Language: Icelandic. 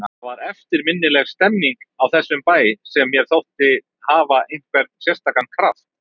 Það var eftirminnileg stemmning í þessum bæ sem mér þótti hafa einhvern sérstakan kraft.